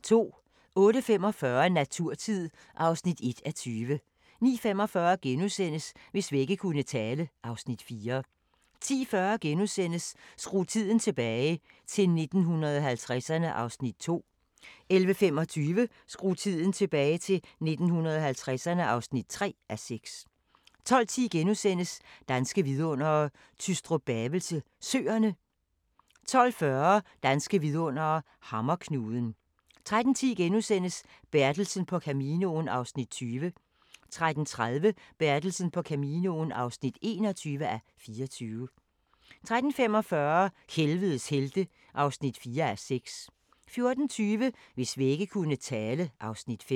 08:45: Naturtid (1:20) 09:45: Hvis vægge kunne tale (Afs. 4)* 10:40: Skru tiden tilbage – til 1950'erne (2:6)* 11:25: Skru tiden tilbage – til 1950'erne (3:6) 12:10: Danske vidundere: Tystrup-Bavelse Søerne * 12:40: Danske vidundere: Hammerknuden 13:10: Bertelsen på Caminoen (20:24)* 13:30: Bertelsen på Caminoen (21:24) 13:45: Helvedes helte (4:6) 14:20: Hvis vægge kunne tale (Afs. 5)